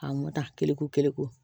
A mɔta keleku